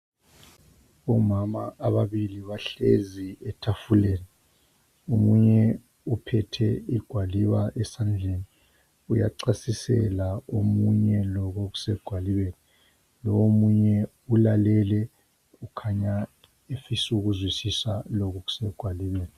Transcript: Omama ababili bahlezi etafuleni. Omunye uphethe igwaliba esandleni uyachasisela omunye lokhu okusegwalibeni. Lo omunye ulalele ukhanya ufisa ukuzwisisa lokhu okusegwalibeni.